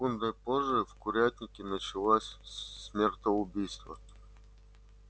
секундой позже в курятнике началось смертоубийство